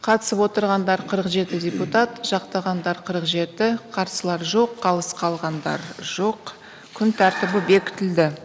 қатысып отырғандар қырық жеті депутат жақтағандар қырық жеті қарсылар жоқ қалыс қалғандар жоқ күн тәртібі бекітілді